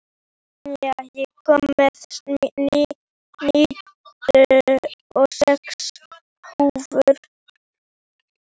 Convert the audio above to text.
Senía, ég kom með níutíu og sex húfur!